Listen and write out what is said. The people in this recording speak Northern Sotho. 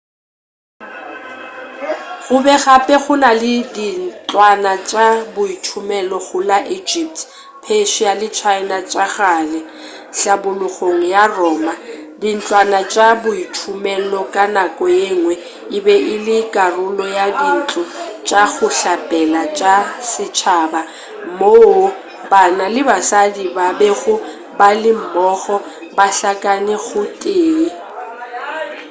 gobe gape go na le dintlwana tša boithomelo go la egypt persia le china tša kgale hlabologong ya roma dintlwana tša boithomelo ka nako yengwe e be e le karolo ya dintlo tša go hlapela tša setšhaba moo banna le basadi ba bego ba le mmogo ba hlakane go tee